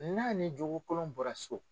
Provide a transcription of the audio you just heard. N'a ni jokolon bɔra so